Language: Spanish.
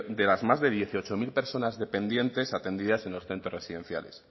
de las más de dieciocho mil personas dependientes atendidas en los centros residenciales